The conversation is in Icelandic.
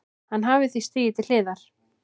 Hann hafi því stigið til hliðar